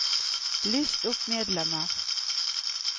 list opp medlemmer